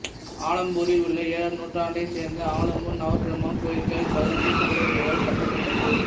ஆலம்பூரில் உள்ள ஏழாம் நூற்றாண்டைச் சேர்ந்த ஆலம்பூர் நவபிரம்மா கோயில்கள் பதாமி சாளுக்கியர்களால் கட்டப்பட்டது